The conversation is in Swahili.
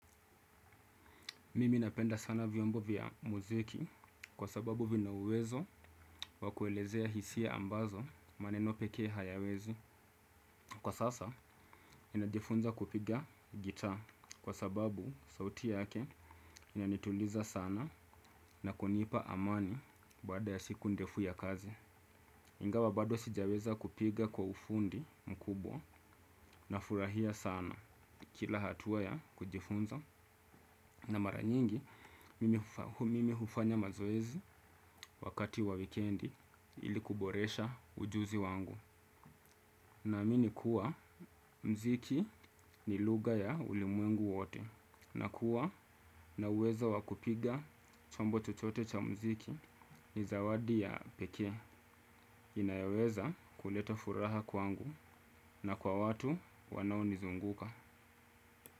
Mimi napenda sana vyombo vya muziki kwa sababu vina uwezo wa kuelezea hisia ambazo maneno pekee hayawezi. Kwa sasa ninajifunza kupiga gitaa kwa sababu sauti yake inanituliza sana na kunipa amani baada ya siku ndefu ya kazi. Ingawa bado sijaweza kupiga kwa ufundi mkubwa nafurahia sana kila hatua ya kujifunza. Na mara nyingi, mimi hufanya mazoezi wakati wa wikendi ili kuboresha ujuzi wangu. Naamini kuwa, muziki ni lugha ya ulimwengu wote. Na kuwa, na uwezo wa kupiga chombo chochote cha muziki ni zawadi ya pekee. Inayoweza kuleta furaha kwangu na kwa watu wanaonizunguka.